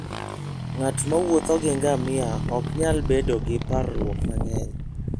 Ng'at mowuotho gi ngamia ok nyal bedo gi parruok mang'eny.